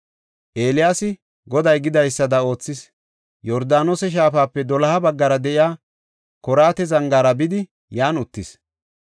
Eeliyaasi Goday gidaysada oothis; Yordaanose shaafape doloha baggara de7iya Koraata zangaara bidi yan uttis.